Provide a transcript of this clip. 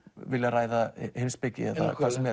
ræða heimspeki eða hvað sem